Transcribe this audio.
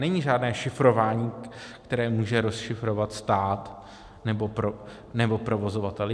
Není žádné šifrování, které může rozšifrovat stát nebo provozovatel.